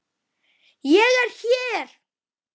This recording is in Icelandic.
ÉG ER HÉR!